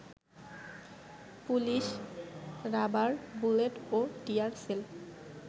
police rubber bullet ও tear sell